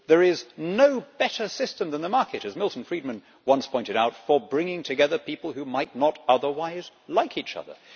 There is no better system than the market, as Milton Friedman once pointed out, for bringing together people who might not otherwise like each other.